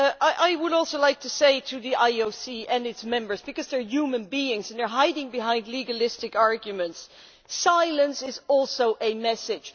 I would also like to say to the IOC and its members, because they are human beings and they are hiding behind legalistic arguments silence is also a message.